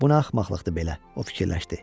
Bu axmaqlıqdır belə, o fikirləşdi.